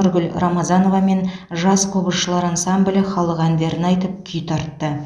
нұргүл рамазанова мен жас қобызшылар ансамблі халық әндерін айтып күй тартты